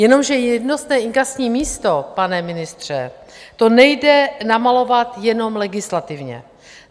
Jenomže jednotné inkasní místo, pane ministře, to nejde namalovat jenom legislativně.